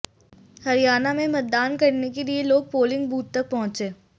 हरियाणा में मतदान करने के लिए लोग पोलिंग बूथ तक पहुंचे